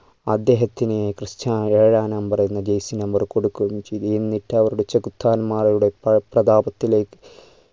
അദ്ദേഹത്തിനെ ക്രിസ്റ്റ്യാനോ ഏഴാം number എന്ന jersey number കൊടുക്കുകയും ചെയ്തു എന്നിട്ട് അവരുടെ ചെഗുത്താന്മാരുടെ പ്ര പ്രതാപത്തിലേക്ക്